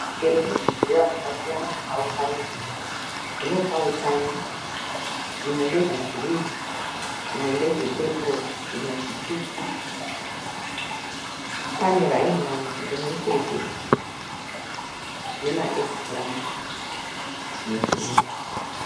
Muchero nezvidyiwa zvasiyana zvakaunganidzwa. Zvinopa hutano. Zvimwe ndezvegirinhi, zvimwe ndezvepepuro, zvimwe zvitsvuku pane raimani rimwechete nema egipurandi nezvimwe.